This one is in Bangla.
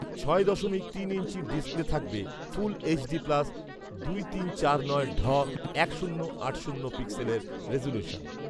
ছয় দশমিক তিন ইঞ্চির ডিসপ্লে থাকবে ফুল এইচডি প্লাস দুই তিন চার নয় ঢ এক শূন্য আট শূন্য পিক্সেলের রেজোলিউশন